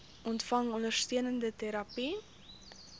ontvang ondersteunende terapie